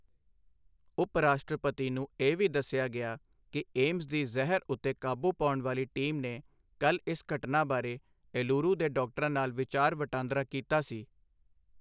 ਉਪ ਰਾਸ਼ਟਰਪਤੀ ਨੂੰ ਇਹ ਵੀ ਦੱਸਿਆ ਗਿਆ ਕਿ ਏਮਸ ਦੀ ਜ਼ਹਿਰ ਉੱਤੇ ਕਾਬੂ ਪਾਉਣ ਵਾਲੀ ਟੀਮ ਨੇ ਕੱਲ ਇਸ ਘਟਨਾ ਬਾਰੇ ਏਲੁਰੂ ਦੇ ਡਾਕਟਰਾਂ ਨਾਲ ਵਿਚਾਰ ਵਟਾਂਦਰਾ ਕੀਤਾ ਸੀ।